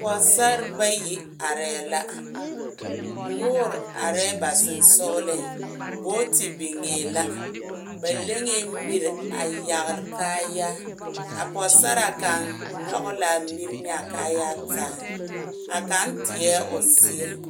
Pogesara ba yi arɛɛ la noɔre arɛɛ ba soŋsoŋlee bɔɔte biŋee la ba leŋee mire a yagle ka yɛɛ a pogesara kaŋ nyoge la mire a ne a kayɛɛ taa a kaŋ tēɛ o seɛ.